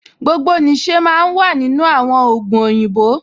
Gbogbo nìṣe máa ń wà nínú àwọn ògùn òyìnbó